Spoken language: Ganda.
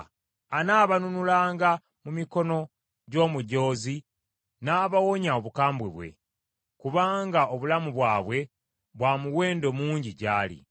Anaabanunulanga mu mikono gy’omujoozi n’abawonya obukambwe bwe; kubanga obulamu bwabwe bwa muwendo mungi gy’ali.